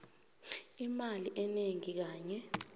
imali enengi kanye